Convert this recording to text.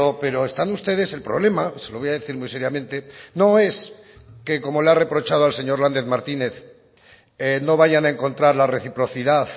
pero están ustedes el problema se lo voy a decir muy seriamente no es que como le ha reprochado al señor lander martínez no vayan a encontrar la reciprocidad